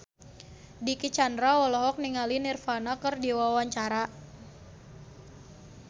Dicky Chandra olohok ningali Nirvana keur diwawancara